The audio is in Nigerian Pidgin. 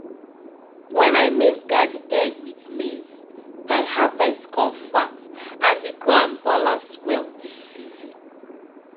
padi-padi planting dey block heavy breeze and stop top soil to dey waka go.